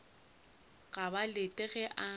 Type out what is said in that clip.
ga ba lete ge a